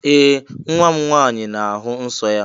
Ee! Nwa m nwaanyị na-ahụ nsọ́ ya.